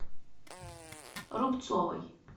рубцовой